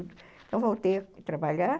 Então voltei a trabalhar,